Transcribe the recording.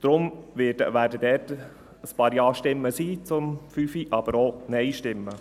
Darum wird es zur Planungserklärungen 5 ein paar Ja-Stimmen geben, aber auch Nein-Stimmen.